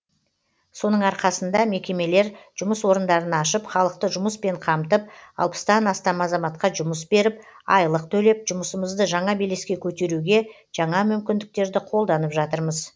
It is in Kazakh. соның арқасында мекемелер жұмыс орындарын ашып халықты жұмыспен қамтып алпыстан астам азаматқа жұмыс беріп айлық төлеп жұмысымызды жаңа белеске көтеруге жаңа мүмкіндіктерді қолданып жатырмыз